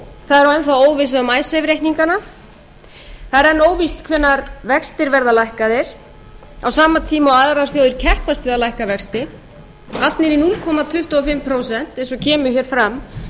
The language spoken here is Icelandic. það er enn óvissa um icesave reikningana það er enn óvíst hvenær vextir verða lækkaðir á sama tíma og aðrar þjóðir keppast við að lækka vexti allt niður í núll komma tuttugu og fimm prósent eins og kemur fram